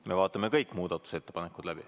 Me vaatame kõik muudatusettepanekud läbi.